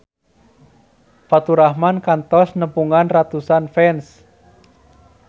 Faturrahman kantos nepungan ratusan fans